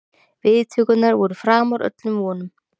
Viðtökurnar voru framar öllum vonum